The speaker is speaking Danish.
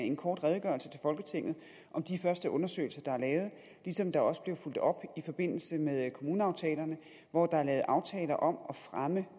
en kort redegørelse til folketinget om de første undersøgelser der er lavet ligesom der også blev fulgt op i forbindelse med kommuneaftalerne hvor der er lavet aftaler om at fremme